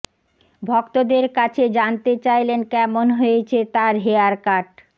ভক্তদের কাছে জানতে চাইলেন কেমন হয়েছে তার হেয়ার কাট